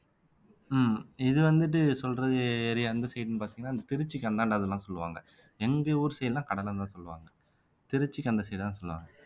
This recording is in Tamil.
உம் இது வந்துட்டு சொல்றது area எந்த side ன்னு பாத்தீங்கன்னா திருச்சிக்கு அந்தாண்ட அதெல்லாம் சொல்லுவாங்க எங்க ஊர் side எல்லாம் கடலைன்னுதான் சொல்லுவாங்க திருச்சிக்கு அந்த side தான் சொல்லுவாங்க